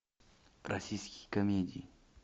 российские комедии